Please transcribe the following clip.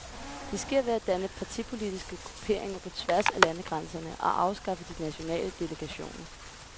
Det sker ved at danne partipolitiske grupperinger på tværs af landegrænserne og afskaffe de nationale delegationer.